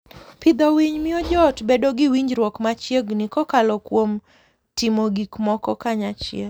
Pidho winy miyo joot bedo gi winjruok machiegni kokalo kuom timo gik moko kanyachiel.